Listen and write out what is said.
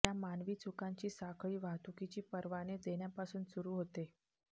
या मानवी चुकांची साखळी वाहतुकीची परवाने देण्यापासून सुरू होते